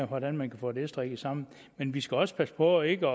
hvordan vi kan få det strikket sammen men vi skal også passe på ikke